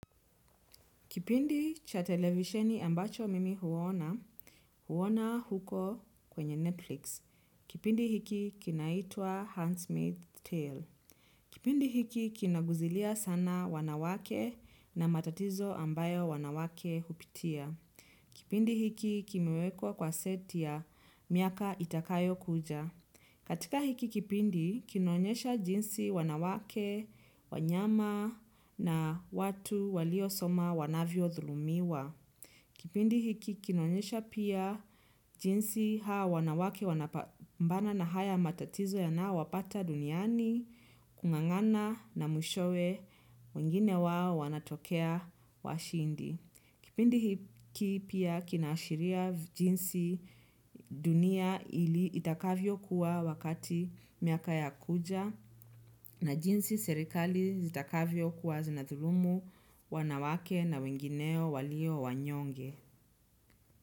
Kipindi cha televisheni ambacho mimi huona, huona huko kwenye Netflix. Kipindi hiki kinaitwa handmaid's tale. Kipindi hiki kinaguzilia sana wanawake na matatizo ambayo wanawake hupitia. Kipindi hiki kimiwekwa kwa seti ya miaka itakayokuja. Katika hiki kipindi kinaonyesha jinsi wanawake, wanyama na watu waliosoma wanavyodhulumiwa. Kipindi hiki kinaonyesha pia jinsi hawa wanawake, wanapambana na haya matatizo yanaowapata duniani, kung'ang'ana na mwishowe wengine wao wanatokea washindi. Kipindi hiki pia kinaashiria jinsi dunia ili itakavyokuwa wakati miaka ya kuja na jinsi serikali itakavyokuwa zinadhulumu wanawake na wengineo walio wanyonge.